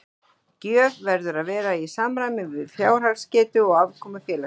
Gjöf verður að vera í samræmi við fjárhagsgetu og afkomu félags.